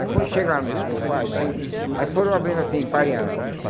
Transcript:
Aí quando chegaram lá no pátio, aí aí foram abrindo assim, emparearam.